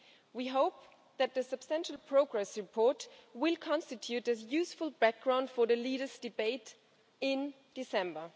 We hope that the substantial progress report will constitute useful background for the leaders' debate in December.